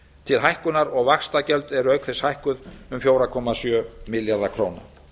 til hækkunar og vaxtagjöld eru auk þess hækkuð um fjóra komma sjö milljarða króna